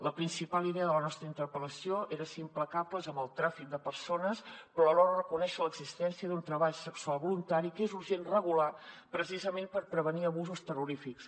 la principal idea de la nostra interpel·lació era ser implacables amb el tràfic de persones però alhora reconèixer l’existència d’un treball sexual voluntari que és urgent regular precisament per prevenir abusos terrorífics